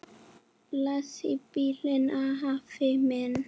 Bless í bili, afi minn.